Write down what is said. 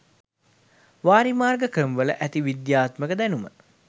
වාරිමාර්ග ක්‍රමවල ඇති විද්‍යාත්මක දැනුම